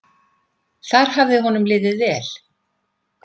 Þar hafði honum liðið vel.